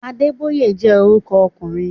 Adébóyè jẹ́ orúkọ ọkùnrin